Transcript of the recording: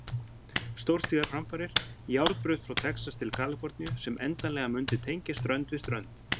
Stórstígar framfarir, járnbraut frá Texas til Kaliforníu sem endanlega mundi tengja strönd við strönd.